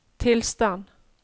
tilstand